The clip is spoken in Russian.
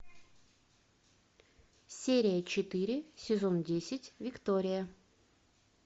серия четыре сезон десять виктория